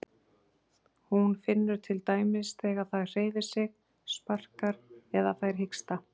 Hún finnur til dæmis þegar það hreyfir sig, sparkar eða fær hiksta.